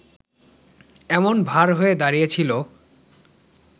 এমন ভার হয়ে দাঁড়িয়েছিল